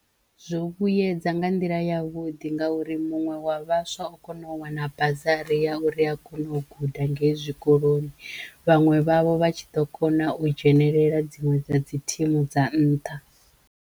Zwo vhuyedza nga nḓila ya vhuḓi ngauri muṅwe wa vhaswa o kono u wana bazari ya uri a kono u guda ngei zwikoloni vhaṅwe vhavho vha tshi ḓo kona u dzhenelela dziṅwe dza dzi thimu dza nṱha.